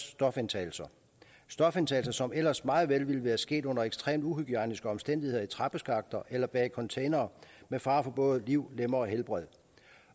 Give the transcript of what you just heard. stofindtagelser stofindtagelser som ellers meget vel ville være sket under ekstremt uhygiejniske omstændigheder i trappeskakter eller bag containere med fare for både liv lemmer og helbred